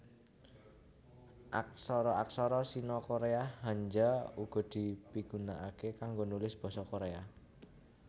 Aksara aksara Sino Koréa Hanja uga dipigunakaké kanggo nulis basa Koréa